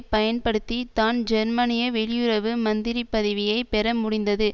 பயன்படுத்தி தான் ஜெர்மனிய வெளியுறவு மந்திரி பதவியை பெற முடிந்தது